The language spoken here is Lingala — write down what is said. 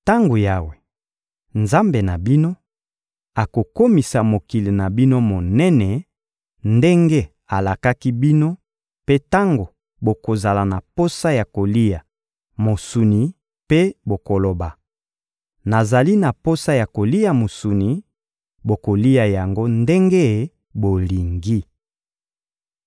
Tango Yawe, Nzambe na bino, akokomisa mokili na bino monene ndenge alakaki bino mpe tango bokozala na posa ya kolia mosuni mpe bokoloba: «Nazali na posa ya kolia mosuni,» bokolia yango ndenge bolingi.